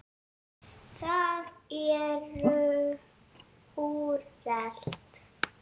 Það er úrelt.